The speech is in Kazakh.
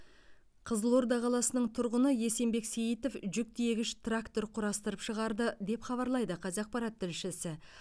қызылорда қаласының тұрғыны есенбек сейітов жүк тиегіш трактор құрастырып шығарды деп хабарлайды қазақпарат тілшісі